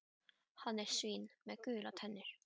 Hann er svín með gular tennur.